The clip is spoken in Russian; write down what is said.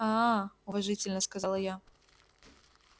аа уважительно сказала я